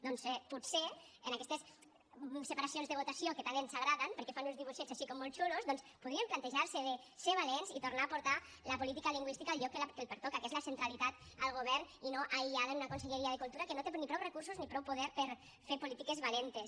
doncs potser en aquestes separacions de votació que tant ens agraden perquè fan uns dibuixets així com molt chulos doncs podríem plantejar se de ser valents i tornar a portar la política lingüística al lloc que li pertoca que és la centralitat al govern i no aïllada en una conselleria de cultura que no té ni prou recursos ni prou poder per fer polítiques valentes